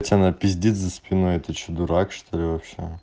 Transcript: если она пиздит за спиной ты что дурак что-ли